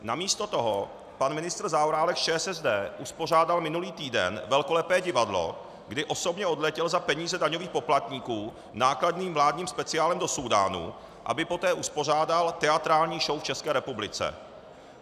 Namísto toho pan ministr Zaorálek z ČSSD uspořádal minulý týden velkolepé divadlo, kdy osobně odletěl za peníze daňových poplatníků nákladným vládním speciálem do Súdánu, aby poté uspořádal teatrální show v České republice.